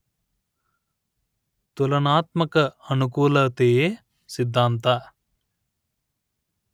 ತುಲನಾತ್ಮಕ ಅನುಕೂಲತೆಯ ಸಿದ್ಧಾಂತ